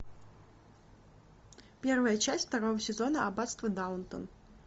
первая часть второго сезона аббатство даунтон